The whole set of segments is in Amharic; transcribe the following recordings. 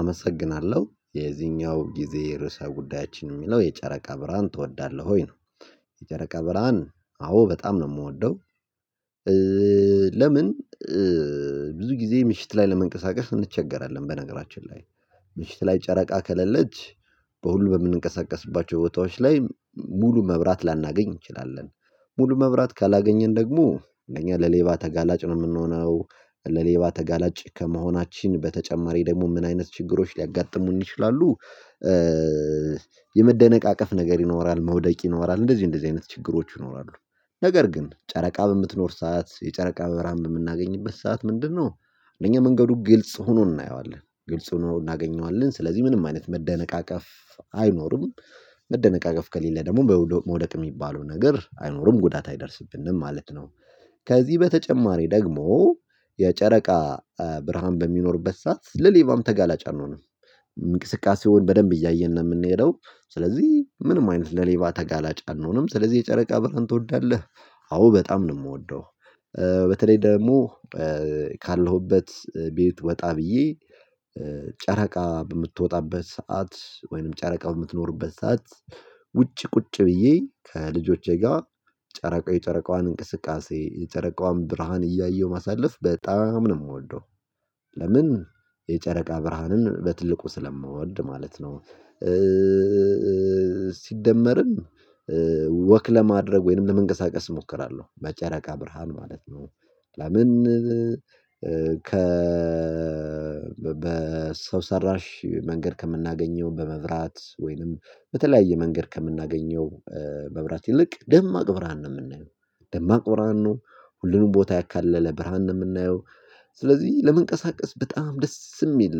አመሰግናለሁ የዚህኛው ጊዜ ርዕሰ ጉዳያችን የሚለው የጨረቃ ብርሃን ትወዳለህ ወይ ነው? የጨረቃ ብርሃን አዎ በጣም ነው የምወደው። ለምን? ብዙ ጊዜ ምሽት ላይ ለመንቀሳቀስ እንቸገራለን። በነገራችን ላይ። ምሽት ላይ ጨረቃ ከሌለች በሁሉ በምንንቀሳቀስባቸው ቦታዎች ላይ ሙሉ መብራት ላናገኝ እንችላለን። ሙሉ መብራት ካላገኘን ደግሞ እኛ ለሌባ ተጋላጭ ነው የምንሆነው ለሌባ ተጋላጭ ከመሆናችን በተጨማሪ ደግሞ ምን አይነት ችግሮች ሊያጋጥሙን ይችላሉ? የመደነቃቀፍ ነገር ይኖራል መውደቅ ይኖራል እንደዚህ እንደዚህ አይነት ችግሮች ይኖራሉ። ነገር ግን ጨረቃ በምትኖር ሰዓት የጨረቃ በራም የምናገኝበት ሰዓት ምንድነው? እነኛ መንገዱ ግልጽ ሆኖ እናየዋለን ግልጽ ሆኖ እናገኘዋለን ስለዚህ ምንም አይነት መደነቃቀፍ አይኖርም። መደነቃቀፍ ከሌለ ደግሞ በመውደቅ የሚባለው ነገር አይኖርም ጉዳት አይደርስብንም ማለት ነው። ከዚህ በተጨማሪ ደግሞ የጨረቃ ብርሃን በሚኖርበት ሰዓት ለሌባም ተጋላጭ አንሆንም። እንቅስቃሴውን በደንብ እያየን ነው የምንሄደው ስለዚህ ምንም አይነት ለሌባ ተጋላጭ አንሆንም። ስለዚህ የጨረቃ ብርሃን ትወዳለህ? አዎ በጣም ነው የምወደው። በተለይ ደግሞ ካለሁበት ቤት ወጣ ብዬ ጨረቃ በምትወጣበት ሰዓት ወይንም ጨረቃ በምትኖርበት ሰዓት። ውጪ ቁጭ ብዬ ከልጆቼ ጋር ጨረቃዋን ጨረቃዋን እንቅስቃሴ የጨረቃዋን ብርሃን እያየሁ ማሳለፍ በጣም ነው የምወደው። ለምን? የጨረቃ ብርሃንን በትልቁ ስለምወድ ማለት ነው። ሲደመርም ወክ ለማድረግ ወይንም ለመንቀሳቀስ እሞክራለሁ በጨረቃ ብርሃን ማለት ነው። ለምን? ከ በሰው ሰራሽ መንገድ ከምናገኘው በመብራት ወይንም በተለያየ መንገድ ከምናገኘው መብራት ይልቅ ደማቅ ብርሃን ነው የምናየው። ደማቅ ብርሃን ነው ሁሉንም ቦታ ያካለለ ብርሃን ነው የምናየው። ስለዚህ ለመንቀሳቀስ በጣም ደስ የሚል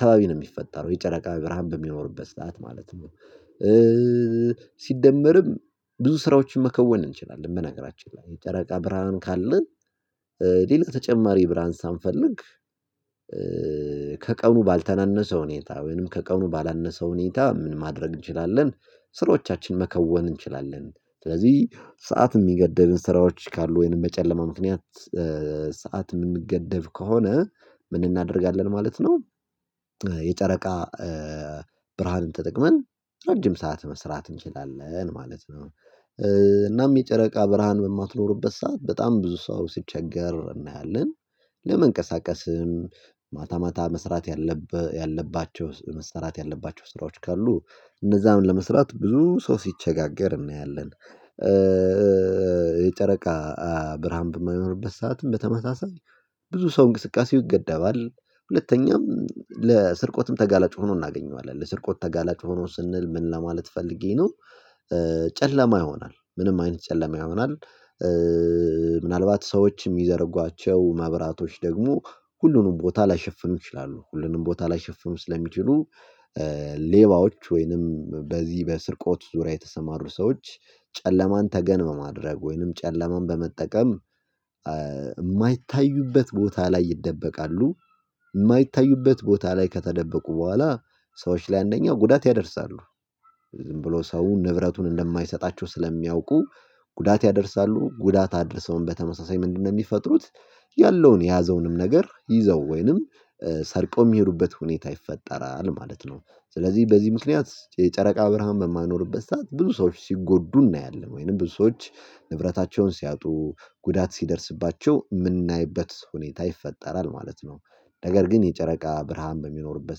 ከባቢ ነው የሚፈጠረው የጨረቃ ብርሃን በሚኖርበት ሰዓት ማለት ነው። ሲደመርም ብዙ ስራዎችን መከወን እንችላለን በነገራችን ላይ የጨረቃ ብርሃን ካለን። ሌላ ተጨማሪ ብርሃን ሳንፈልግ ከቀኑ ባልተናነሰ ሁኔታ ወይንም ከቀኑ ባላነሰ ሁኔታ ምን ማድረግ እንችላለን? ስራዎቻችን መከወን እንችላለን። ስለዚህ ሰዓት የሚገደብን ስራዎች ካሉ ወይንም በጨለማ ምክንያት ሰዓት የምንገደብ ከሆነ ምን እናደርጋለን ማለት ነው። የጨረቃ ተጠቅመን ረጅም ሰዓት መስራት እንችላለን ማለት ነው። እናም የጨረቃ ብርሃን በማትኖርበት ሰዓት በጣም ብዙ ሰው ሲቸገር እናያለን። ለመንቀሳቀስም ማታ ማታ መስራት ያለባቸው መስራት ያለባቸው ስራዎች ካሉ እነዛም ለመስራት ብዙ ሰው ሲቸጋገር እናያለን። የጨረቃ ብርሃን በማይኖርበት ሰዓትም በተመሳሳይ ብዙ ሰው እንቅስቃሴው ይገደባል። ሁለተኛም ለስርቆትም ተጋላጭ ሆኖ እናገኘዋለን ለስርቆት ተጋላጭ ሆኖ ስንል ምን ለማለት ፈልጌ ነው? ጨለማ ይሆናል ምንም አይነት ጨለማ ይሆናል። ምናልባት ሰዎች የሚዘርጓቸው ማብራቶች ደግሞ ሁሉንም ቦታ ላይሸፍኑ ይችላሉ ሁሉንም ቦታ ላይሸፍም ስለሚችሉ። ሌባዎች ወይንም በዚህ በስርቆት ዙሪያ የተሰማሩ ሰዎች ጨለማን ተገንመማ ማድረግ ወይንም ጨለማን በመጠቀም የማይታዩበት ቦታ ላይ ይደበቃሉ። የማይታዩበት ቦታ ላይ ከተደበቁ በኋላ ሰዎች ላይ አንደኛው ጉዳት ያደርሳሉ። ዝም ብሎ ሰው ንብረቱን እንደማይሰጣቸው ስለሚያውቁ ጉዳት ያደርሳሉ ጉዳት አድርሰውም በተመሳሳይ ምንድነው የሚፈጥሩት? ያለውን የያዘውንም ነገር ይዘው ወይንም ሰርቆ የሚሄዱበት ሁኔታ ይፈጠራል ማለት ነው። ስለዚህ በዚህ ምክንያት የጨረቃ ብርሃን በማይኖርበት ሰዓት ብዙ ሰዎች ሲጎዱ እናያለን ወይንም ብዙ ብዙዎች ንብረታቸውን ሲያጡ ጉዳት ሲደርስባቸው የምናይበት ሁኔታ ይፈጠራል ማለት ነው። ነገር ግን የጨረቃ ብርሃን በሚኖርበት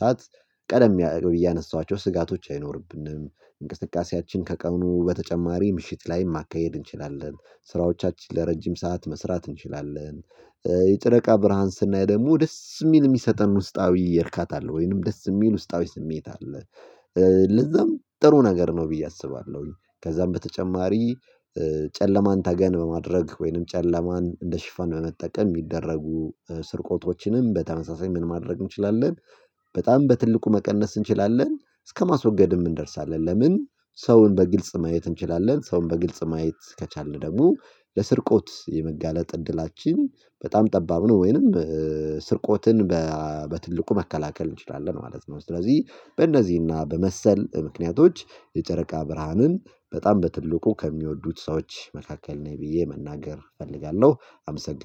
ሰዓት ቀደም እያነሷቸው ስጋቶች አይኖርብንም። እንቅስቃሴያችን ከቀኑ በተጨማሪ ምሽት ላይ ማካሄድ እንችላለን ስራዎቻችን ለረጅም ሰዓት መስራት እንችላለን። የጨረቃ ብርሃን ስናይ ደግሞ ደስ የሚል የሚሰጠን ውስጣዊ ይርካታ ወይንም ደስ የሚል ውስጣዊ ስሜት አለ። ለዛም ጥሩ ነገር ነው ብዬ አስባለሁኝ ከዛም በተጨማሪ። ጨለማን ታገን በማድረግ ወይንም ጨለማን እንደ ሽፋን በመጠቀም የሚደረጉ ስርቆቶችንም በተመሳሳይ ምን ማድረግ እንችላለን? በጣም በትልቁ መቀነስ እንችላለን እስከማስወገድም እንደርሳለን። ለምን? ሰውን በግልጽ ማየት እንችላለን ሰውን በግልጽ ማየት ከቻልን ደግሞ ለስርቆት የመጋለጥ እድላችን በጣም ጠባብ ነው። ወይንም ስርቆትን በትልቁ መከላከል እንችላለን ማለት ነው። ስለዚህ በእነዚህና በመሰል ምክንያቶች የጨረቃ ብርሃንን በጣም በትልቁ ከሚወዱት ሰዎች መካከል ነኝ ብዬ መናገር እፈልጋለሁ አመሰግናለሁ